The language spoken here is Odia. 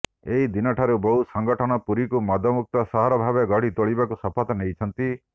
ଏହି ଦିନ ଠାରୁ ବହୁ ସଂଗଠନ ପୁରୀକୁ ମଦମୁକ୍ତ ସହର ଭାବେ ଗଢ଼ି ତୋଳିବାକୁ ଶପଥ ନେଇଛନ୍ତି